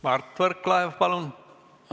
Mart Võrklaev, palun!